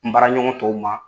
N baaraɲɔgɔn tɔw ma